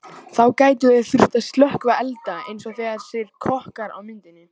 Þá gætu þeir þurft að slökkva elda eins og þessir kokkar á myndinni.